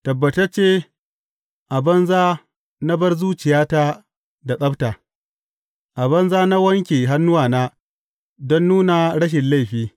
Tabbatacce a banza na bar zuciyata da tsabta; a banza na wanke hannuwa don nuna rashin laifi.